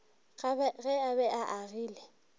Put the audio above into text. ge a be a agile